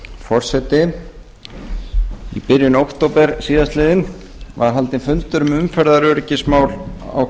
forseti í byrjun október síðastliðinn var haldinn fundur um umferðaröryggismál á